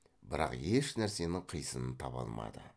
бірақ еш нәрсенің қисынын таба алмады